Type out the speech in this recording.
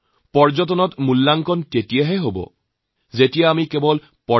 নিজৰ কামৰ আৰম্ভণিতে তেওঁলোকে ভাৰতক জনাৰ আৰু বুজিৰ পোৱাৰ চেষ্টা কৰিছে